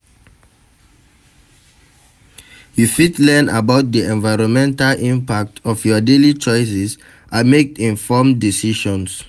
You fit learn about di environmental impact of your daily choices and make informed decisions.